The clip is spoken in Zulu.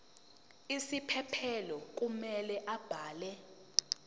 isiphephelo kumele abhale